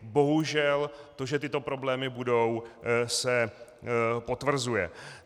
Bohužel to, že tyto problémy budou, se potvrzuje.